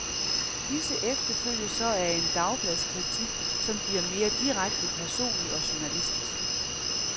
Disse efterfølges så af en dagbladskritik, som bliver mere direkte personlig og journalistisk.